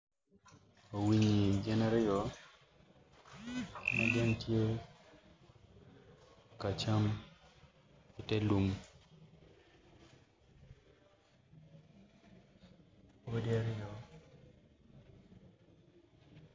Winyi gin aryo magin tye ka cam i telum odi aryo.